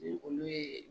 Ni olu ye